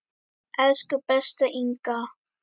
Elsku besta Inga.